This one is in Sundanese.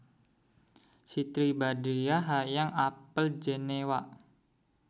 Siti Badriah hoyong apal Jenewa